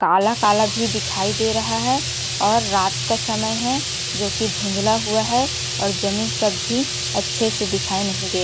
काला-काला भी दिखाई दे रहा है और रात का समय है जो कि धुंधला हुआ है और जमीन सब भी अच्छे से दिखाई नहीं दे--